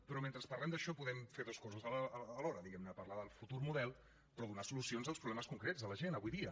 però mentre parlem d’això podem fer dues coses alhora diguem ne parlar del futur model però donar solucions als problemes concrets de la gent avui dia